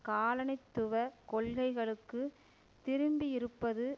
காலனித்துவ கொள்கைகளுக்கு திரும்பியிருப்பது